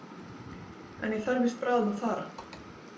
En ég þarf víst bráðum að fara